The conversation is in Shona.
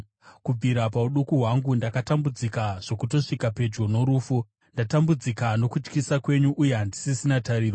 Kubvira pauduku hwangu, ndakatambudzika zvokutosvika pedyo norufu; ndatambudzika nokutyisa kwenyu uye handisisina tariro.